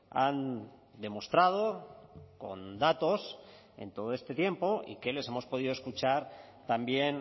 han demostrado con datos en todo este tiempo y que les hemos podido escuchar también